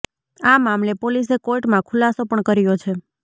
આ મામલે પોલીસે કોર્ટમાં ખુલાસો પણ કર્યો છે